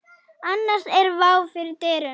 Annars er vá fyrir dyrum.